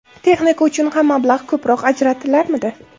Texnika uchun ham mablag‘ ko‘proq ajratilarmidi.